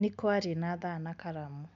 Nikwari na thaa na karamu.